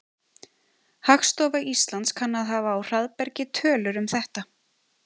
Hagstofa Íslands kann að hafa á hraðbergi tölur um þetta.